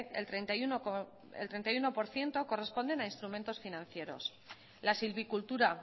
el treinta y uno por ciento corresponden a instrumentos financieros la selvicultura a